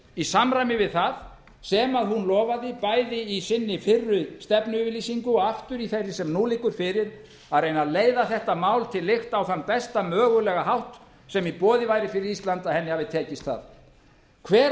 í samræmi við það sem hún lofaði bæði í sinni fyrri stefnuyfirýsingu og aftur í þeirri sem nú liggur fyrir að reyna að leiða þetta mál til lykta á þann besta mögulega hátt sem í boði væri fyrir ísland að henni hafi tekist það hver var